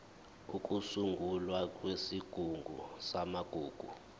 ukusungulwa kwesigungu samagugu